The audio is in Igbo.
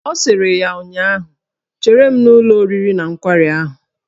Ọ sịrị ya ụnyaahụ " Chere m n'ụlọ oriri na nkwari ahụ"!